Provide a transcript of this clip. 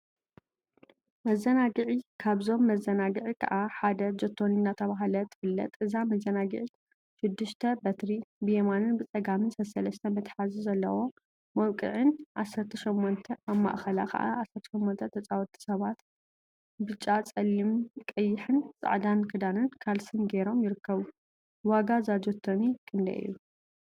መዘናግዒ ካብዞም መዘናግዒ ከዓ ሓደ ጆቶኒ እናተብሃለት ትፍለጥ፡፡ እዛ መዘናግዒት ሽዱሽተ በትሪ ብየማንን ብፀጋምን ሰሰለስተ መትሐዚ ዘለዎ መውቅዒን 18 አብ ማእከላ ከዓ 18 ተፃወቲ ሰባት ብጫ፣ ፀሊም፣ ቀይሕን ፃዕዳን ክዳንን ካልሲን ገይሮም ይርከቡ፡፡ ዋጋ እዛ ጆቶኒ ክንደይ እዩ?